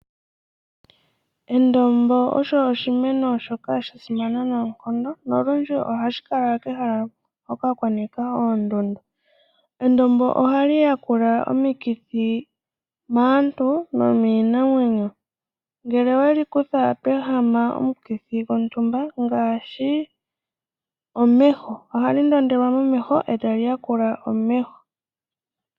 Endombo osho oshimeno shoka sha simana noonkondo. Nolundji ohashi kala kehala hoka kwa nika oondundu. Endombo ohali yakula omikithi maaantu nomiinamwenyo. Ngele owe li kutha to ehama omukithi gontumba, ngaashi omeho, ohali ndondelwa momeho e tali yakula omeho.